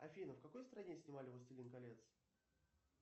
афина в какой стране снимали властелин колец